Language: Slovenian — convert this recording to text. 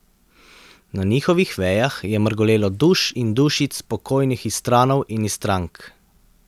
Na njihovih vejah je mrgolelo duš in dušic pokojnih Istranov in Istrank.